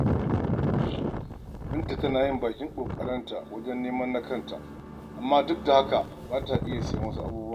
Binta tana yin bakin ƙoƙarinta wajen neman na kanta, amma duk da haka ba ta iya siyan wasu abubuwan.